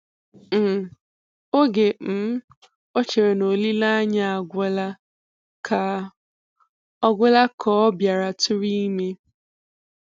um oge um o chere na olileanya agwụla ka ọ agwụla ka ọ bịara tụrụ ime.